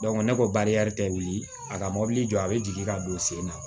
ne ko barika tɛ wuli a ka mobili jɔ a bɛ jigin ka don sen na